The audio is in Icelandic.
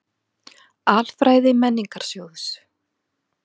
Alfræði Menningarsjóðs.